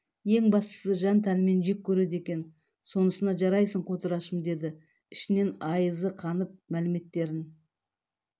ең бастысы жан-тәнңмен жек көреді екен сонысына жарайсың қотырашым деді ішінен айызы қанып мәліметтерін